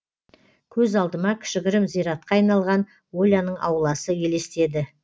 көз алдыма кішігірім зиратқа айналған оляның ауласы елестеді